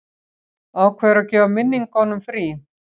Ákveður að gefa minningum frí.